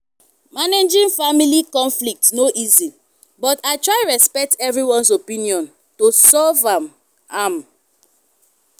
managing family conflicts no easy but i try respect everyone’s opinion to solve am. am.